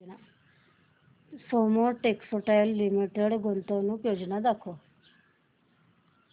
Soma textile limited गुंतवणूक योजना दाखव